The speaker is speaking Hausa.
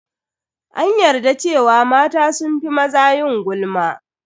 An yarda cewa mata sun fi maza yin gulma.